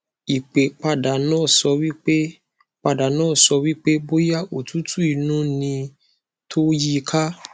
ipe pada nurse sọ wi pe pada nurse sọ wi pe boya otutu inu ni to yika